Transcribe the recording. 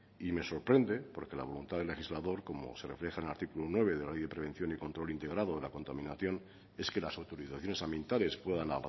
y me sorprende porque la voluntad del legislador como se refleja en el artículo nueve de la ley de prevención y control integrado de la contaminación es que las autorizaciones ambientales puedan